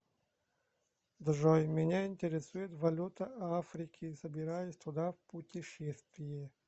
джой меня интересует валюта африки собираюсь туда в путешествие